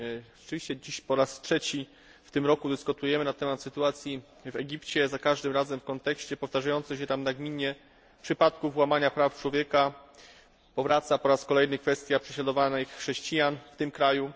Rzeczywiście w tym roku dyskutujemy na temat sytuacji w Egipcie za każdym razem w kontekście powtarzających się tam nagminnie przypadków łamania praw człowieka powraca po raz kolejny kwestia prześladowanych chrześcijan w tym kraju.